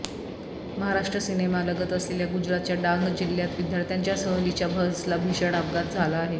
महाराष्ट्र सिमेलगत असलेल्या गुजरातच्या डांग जिल्ह्यात विद्यार्थ्यांच्या सहलीच्या बसला भीषण अपघात झाला आहे